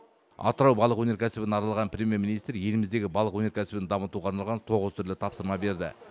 атырау балық өнеркәсібін аралаған премьер министр еліміздегі балық өнеркәсібін дамытуға арналған тоғыз түрлі тапсырма берді